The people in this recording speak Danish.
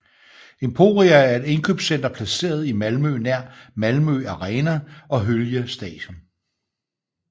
Emporia er et indkøbscenter placeret i Malmø nær Malmö Arena og Hyllie Station